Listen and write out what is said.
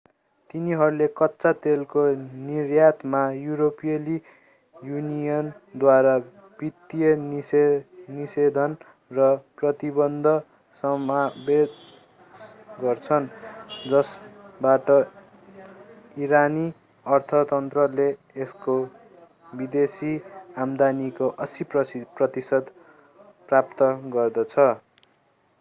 तिनीहरूले कच्चा तेलको निर्यातमा युरोपेली युनियनद्वारा वित्तीय निषेधन र प्रतिबन्ध समावेश गर्छन् जसबाट इरानी अर्थतन्त्रले यसको विदेशी आम्दानीको 80% प्राप्त गर्दछ